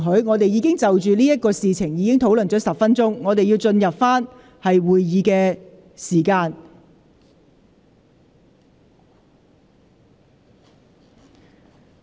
我們已就此事討論了10分鐘，是時候返回原本的議題。